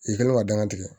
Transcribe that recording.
I kɛlen ka danga tigɛ